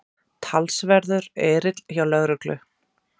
Talsverður erill hjá lögreglu